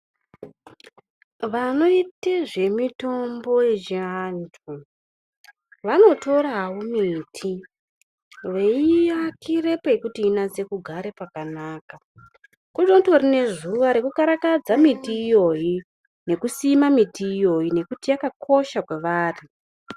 Vanoyite zvemitombo yechiantu, vanotorawo miti veyiakire pekuti inatse kugara pakanaka. Kunotori nezuva rekukarakadza miti iyoyi nekusima miti iyoyi nokuti yakakosha kwavari.